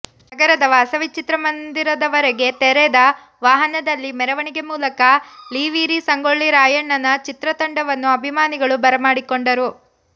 ನಗರದ ವಾಸವಿ ಚಿತ್ರಮಂದಿರದವರೆಗೆ ತೆರೆದ ವಾಹನದಲ್ಲಿ ಮೆರವಣಿಗೆ ಮೂಲಕ ಲೀವೀರ ಸಂಗೋಳ್ಳಿ ರಾಯಣ್ಣನ ಚಿತ್ರ ತಂಡವನ್ನು ಅಭಿಮಾನಿಗಳು ಭರಮಾಡಿಕೊಂಡರು